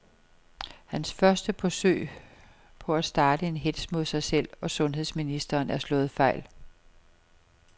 Hans første forsøg på at starte en hetz mod sig selv og sundheds ministeren er slået fejl.